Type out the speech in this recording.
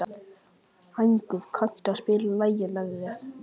Hængur, kanntu að spila lagið „Með þér“?